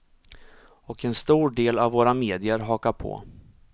Och en stor del av våra medier hakar på.